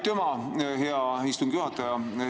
Aitüma, hea istungi juhataja!